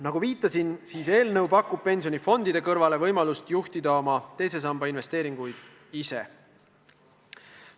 Nagu viitasin, pakub eelnõu pensionifondide kõrval võimalust juhtida oma teise samba investeeringuid ise.